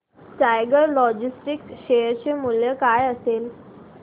tiger Logistics share चे मूल्य काय असेल